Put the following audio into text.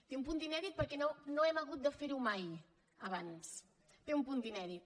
té un punt d’inèdit perquè no hem hagut de ferho mai abans té un punt d’inèdit